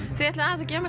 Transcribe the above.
þið ætlið að gefa mér